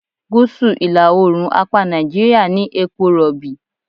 Gúsù ìlà-oòrùn apá Nàìjíríà ní epo Rọ̀bì.